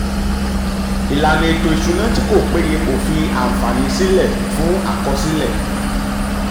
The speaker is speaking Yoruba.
ìlànà ètò ìṣúná tí kò péye kò fi àǹfààní sílẹ̀ fún um àkọsílẹ̀.